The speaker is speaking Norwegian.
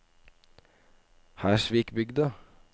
Hersvikbygda